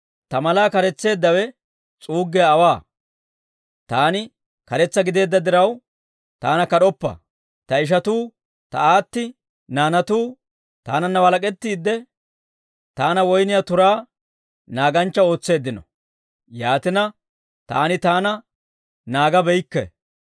Ta malaa kares'isseeddawe s'uuggiyaa aawaa; taani karetsa gideedda diraw, taana kad'oppa. Ta ishatuu, ta aatti naanatuu taananna walak'ettiide, taana woyniyaa turaa naaganchcha ootseeddino; yaatina, taani taana naagabeykke.